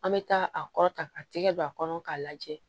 An bɛ taa a kɔrɔta a tɛgɛ don a kɔnɔ k'a lajɛ